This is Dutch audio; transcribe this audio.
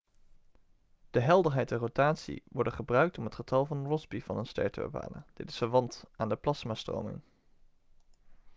de helderheid en rotatie worden gebruikt om het getal van rossby van een ster te bepalen dit is verwant aan de plasmastroming